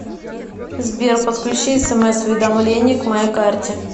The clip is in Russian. сбер подключи смс уведомление к моей карте